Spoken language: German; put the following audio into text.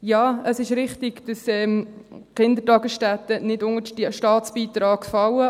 Ja, es ist richtig, dass die Kindertagesstätten nicht unter den Staatsbeitrag fallen.